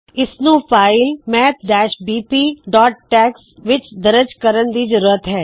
ਇਸ ਨੂੰ file math BP tax maths bpਟੈਕਸ ਵਿੱਚ ਦਰਜ ਕਰਣ ਦੀ ਜ਼ਰੂਰਤ ਹੈ